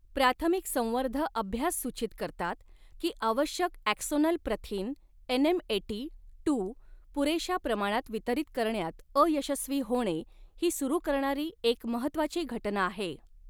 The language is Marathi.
प्राथमिक संवर्ध अभ्यास सूचित करतात की आवश्यक ॲक्सोनल प्रथिन एनएमएटी टू पुरेशा प्रमाणात वितरीत करण्यात अयशस्वी होणे ही सुरू करणारी एक महत्त्वाची घटना आहे.